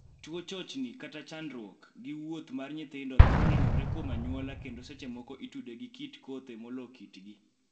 TTuo chochni (chandruok) gi wuoth mar nyithindo thoro nenore kuom anyuola kendo seche moko itude gi kit kothe molo kitgi.